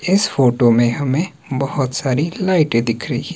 इस फोटो में हमें बहुत सारी लाइटें दिख रही--